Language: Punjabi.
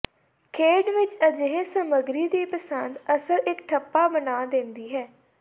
ਖੇਡ ਵਿੱਚ ਅਜਿਹੇ ਸਮੱਗਰੀ ਦੀ ਪਸੰਦ ਅਸਲ ਇੱਕ ਠੱਪਾ ਬਣਾ ਦਿੰਦਾ ਹੈ